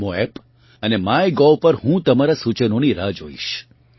નામો એપ અને માયગોવ પર હું તમારા સૂચનોની રાહ જોઇશ